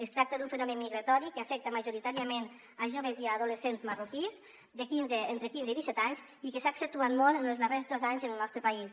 es tracta d’un fenomen migratori que afecta majoritàriament joves i adolescents marroquins entre quinze i disset anys i que s’ha accentuat molt en els darrers dos anys en el nostre país